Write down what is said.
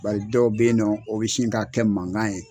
Bari dɔw be yen nɔ o bi sin k'a kɛ mangan ye